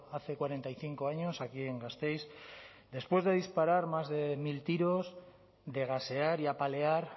hace cuarenta y cinco años aquí en gasteiz después de disparar más de mil tiros de gasear y apalear